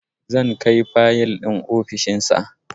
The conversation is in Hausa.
Zan kai fayil ɗin ofishin sa